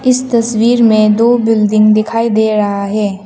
इस तस्वीर में दो बिल्डिंग दिखाई दे रहा है।